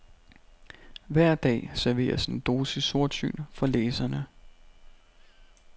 Hver dag serveres en dosis sortsyn for læserne.